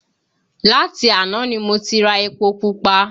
Láti àná ni mo ti ra epo pupa